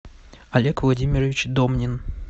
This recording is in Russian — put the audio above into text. олег владимирович домнин